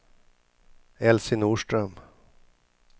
Elsie Norström